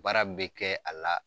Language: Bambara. Baara bɛ kɛ a la